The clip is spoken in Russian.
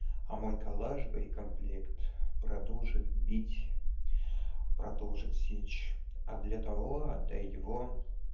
а мой коллаж боекомплект продолжит бить продолжить сечь а для того отдай его